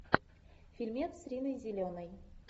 фильмец с риной зеленой